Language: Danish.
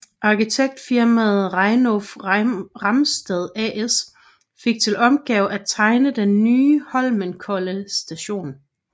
Arkitektfirmaet Reiulf Ramstad AS fik til opgave at tegne den nye Holmenkollen Station